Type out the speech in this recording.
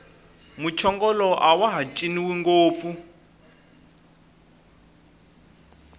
muchongolo awaha ciniwi ngopfu